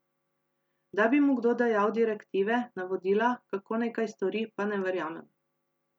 Da bi mu kdo dajal direktive, navodila, kako naj kaj stori, pa ne verjamem.